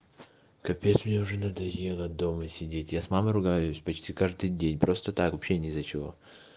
капец мне уже надоело дома сидеть я с мамой ругаюсь почти каждый день просто так вообще не из-за чего